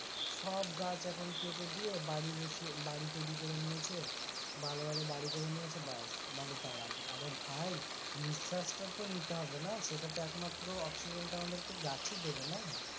সব গাছ এখন কেটে দিয়ে বাড়ি বসিয়ে বাড়ি তৈরি করে নিয়েছে ভালো ভালো বাড়ি করে নিয়েছে ব্যাস বাড়ীতে আরাম, আরে ভাই নিশ্বাসটা তো নিতে হবে না সেটা তো একমাত্র অক্সিজেনটা আমাদেরকে গাছই দেবে না।